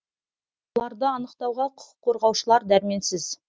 оларды анықтауға құқық қорғаушылар дәрменсіз